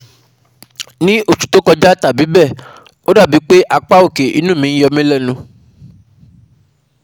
Ní oṣù tó kọjá tàbí bẹ́ẹ̀, o dàbí pé apá òkè inu mi yomilenu